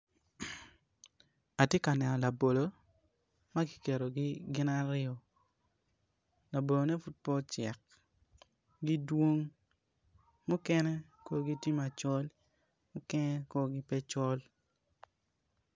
Atye ka neno labolo ma giketogi gin aryo, labolone pud pe ocek gidwong mukene korgi tye macol mukene korgi pe col